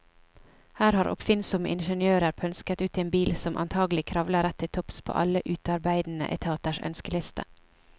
Her har oppfinnsomme ingeniører pønsket ut en bil som antagelig kravler rett til topps på alle utearbeidende etaters ønskeliste.